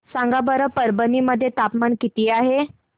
सांगा बरं परभणी मध्ये तापमान किती आहे